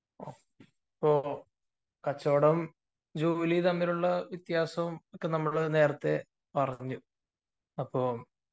അപ്പൊ കച്ചവടവും ജോലിയും തമ്മിലുള്ള വ്യത്യാസം നമ്മൾ പറഞ്ഞു